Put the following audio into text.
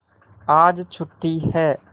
आज छुट्टी है